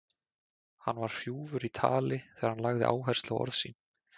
Hann var hrjúfur í tali þegar hann lagði áherslu á orð sín.